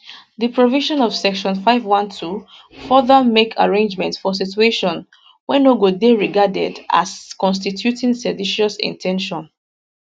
di provision of section 51 2 further make arrangement for situations wey no go dey regarded as constituting seditious in ten tion